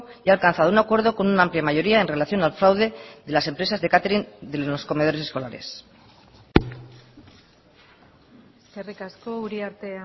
y ha alcanzado un acuerdo con una amplia mayoría en relación al fraude de las empresas de catering de los comedores escolares eskerrik asko uriarte